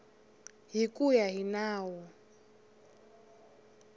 hi ku ya hi nawu